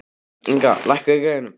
Inga, lækkaðu í græjunum.